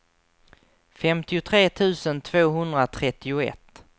femtiotre tusen tvåhundratrettioett